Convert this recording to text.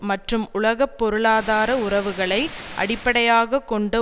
மற்றும் உலக பொருளாதார உறவுகளை அடிப்படையாக கொண்ட